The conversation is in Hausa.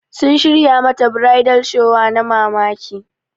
Sun shirya mata bridal shower na mamaki.